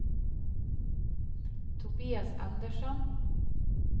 Tobias Andersson